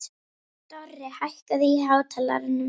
Dorri, hækkaðu í hátalaranum.